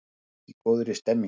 Fólk í góðri stemningu!